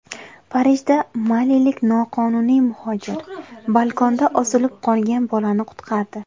Parijda malilik noqonuniy muhojir balkonda osilib qolgan bolani qutqardi.